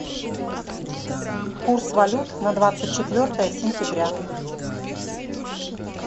курс валют на двадцать четвертое сентября